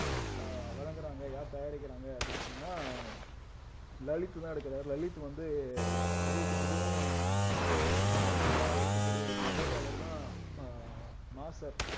அஹ் வழங்குறாங்க யார் தயாரிக்கிறாங்க அப்படின்னு சொன்னா லலித் தான் எடுக்கறாரு லலித் வந்து விஜய்க்கு மிகவும் அஹ் நெருக்கமா இருக்கக்கூடிய ஒரு நபர் அவர்தான் அஹ் மாஸ்டர்